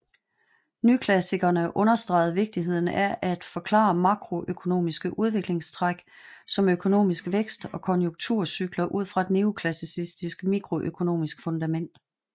Nyklassikerne understregede vigtigheden af at forklare makroøkonomiske udviklingstræk som økonomisk vækst og konjunkturcykler ud fra et neoklassisk mikroøkonomisk fundament